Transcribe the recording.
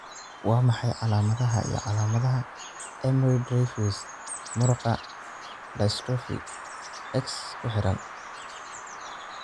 Waa maxay calaamadaha iyo calaamadaha Emery Dreifuss muruqa dystrophy, X ku xidhan?